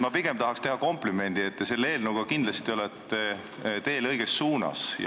Ma tahaks teha komplimendi, et te olete selle eelnõuga kindlasti teel õiges suunas.